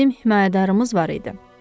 Bizim himayədarımız var idi.